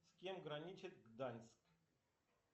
с кем граничит гданьск